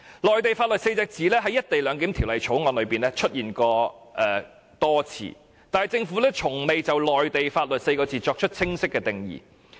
"內地法律"這4個字在《條例草案》中多次出現，但政府卻從未就這4個字作出清晰的定義。